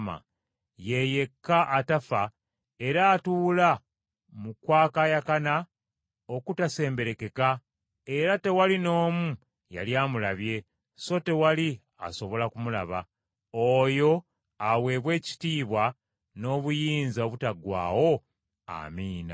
ye yekka atafa era atuula mu kwakaayakana okutasemberekeka, era tewali n’omu yali amulabye, so tewali asobola kumulaba, oyo aweebwe ekitiibwa, n’obuyinza obutaggwaawo, Amiina.